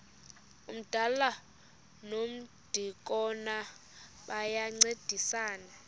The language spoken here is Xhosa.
umdala nomdikoni bayancedisana